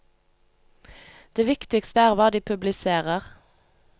Det viktigste er hva de publiserer.